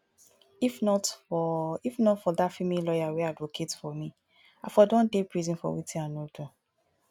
if not for if not for dat female lawyer wey advocate for me i for don dey prison for wetin i no do